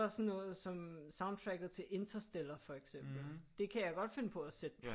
Også sådan noget som soundtracket til Interstellar for eksempel det kan jeg godt finde på at sætte på